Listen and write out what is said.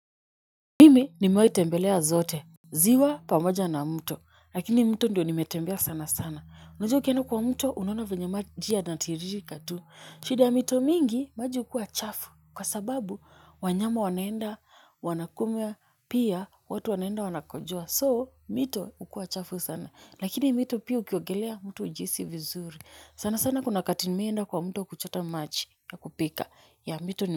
Mimi nimewai tembelea zote ziwa pamoja na mto lakini mto ndio nimetembea sana sana unajua ukienda kwa mto unaona venye maji yana tiririka tu shida ya mito mingi maji hukua chafu kwa sababu wanyama wanaenda wanakumia pia watu wanaenda wanakojoa soo mito hukua chafu sana lakini mto pia ukua chafu sana lakini mito pia ukiogelea mtu hujihisi vizuri sana sana kuna wakati nimewaienda kwa mto kuchota maji ya kupika ya mito ni.